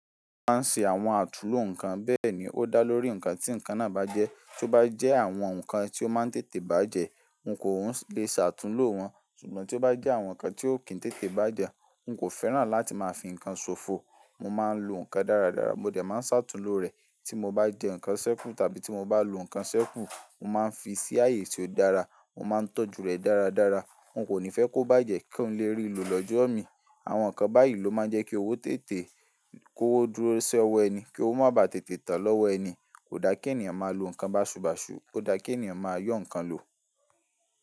Mo máa ń ṣe àwọn àtunúlò nǹkan bẹ́ẹ̀ ní o dá lórí nǹkan tí nǹkan náà bá jẹ́. Tí ó bá jẹ àwọn nǹkan tí ó máa ń tètè bá jẹ́, n kò le ṣàtunúlò wọn. Sùgbọ́n tí ó bá jẹ́ àwọn nǹkan tí ò kì í tètè bá jẹ́, n kò fẹ́ràn láti máa fi nǹkan sòfò. Mo máa ń lo nǹkan dáradára. Mo dẹ̀ má ṣàtunúlò rẹ̀. Tí mo bá jẹ nǹkan ṣẹ́kù tàbí tí mo bá lo nǹkan ṣẹ́kù, mo máa ń fí ṣí ààyè tí ó dára. Mo máa ń tọ́jú rẹ̀ dáradára. N kò ní fẹ́ kó bá jẹ kí n le rí i lò lọ́jọ́ mi. Àwọn nǹkan báyìí ló máa ń jẹ kí owó tètè kó dúró sọ́ ọwọ́ ẹni, kí ó má bàá tètè tàn lọ́wọ́ ẹni. Kò dá kí ènìyàn máa lo nǹkan baṣùbàsù. Kò dá kí ènìyàn máa yọ́n nǹkan lo.